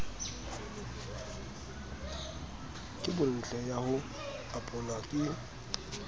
kobontle ya ho apolwa e